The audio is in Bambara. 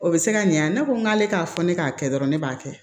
O bɛ se ka ɲan ne ko n k'ale k'a fɔ ne k'a kɛ dɔrɔn ne b'a kɛ